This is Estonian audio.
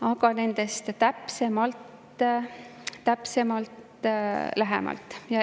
Aga nendest täpsemalt hiljem.